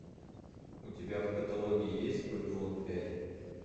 у тебя в каталоге есть вавилон пять